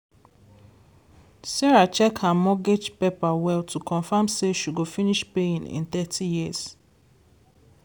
sarah check her mortgage paper well to confirm say she go finish paying in thirty years.